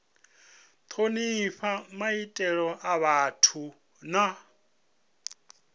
thonifha maitele a vhathu na